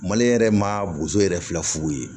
Maliyɛn yɛrɛ ma boso yɛrɛ filɛ furu ye